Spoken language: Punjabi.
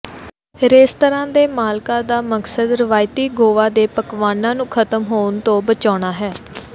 ਰੈਸਤਰਾਂ ਦੇ ਮਾਲਕਾਂ ਦਾ ਮਕਸਦ ਰਵਾਇਤੀ ਗੋਆ ਦੇ ਪਕਵਾਨਾਂ ਨੂੰ ਖਤਮ ਹੋਣ ਤੋਂ ਬਚਾਉਣਾ ਹੈ